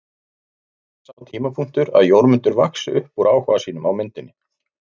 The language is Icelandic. En kemur aldrei sá tímapunktur að Jórmundur vaxi upp úr áhuga sínum á myndinni?